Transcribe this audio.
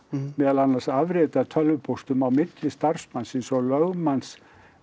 meðal annars afrit af tölvupóstum á milli starfsmannsins og lögmanns